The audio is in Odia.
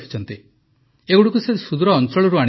ଏଗୁଡ଼ିକୁ ସେ ସୁଦୂର ଅଞ୍ଚଳରୁ ଆଣିଛନ୍ତି